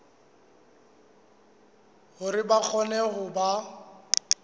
hore ba kgone ho ba